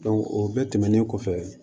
o bɛɛ tɛmɛnen kɔfɛ